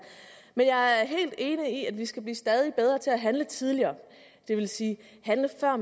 men jeg er helt enig i at vi skal blive stadig bedre til at handle tidligere det vil sige handle før